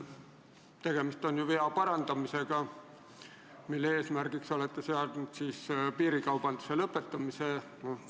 Tegemist on ju vea parandamisega, mille eesmärgiks olete seadnud piirikaubanduse lõpetamise.